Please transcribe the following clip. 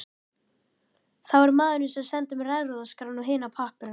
Það var maðurinn sem sendi mér erfðaskrána og hina pappírana.